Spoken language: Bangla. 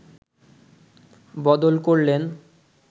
বদল করলেন